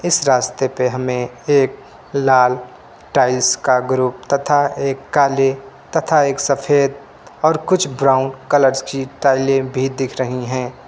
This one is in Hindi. इस रास्ते पे हमें एक लाल टाइल्स का ग्रुप तथा एक काले तथा एक सफेद और कुछ ब्राउन कलर्स की टाइलें भी दिख रही हैं।